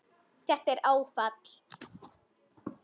Þetta er áfall